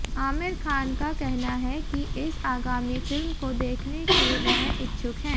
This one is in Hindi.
आमिर खान का कहना है कि इस आगामी फिल्म को देखने के वह इच्छुक हैं